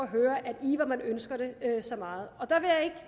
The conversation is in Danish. høre at ønsker det så meget